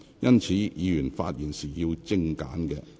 因此，議員發言時請精簡。